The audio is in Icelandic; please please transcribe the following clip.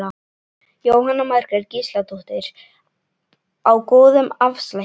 Jóhanna Margrét Gísladóttir: Á góðum afslætti?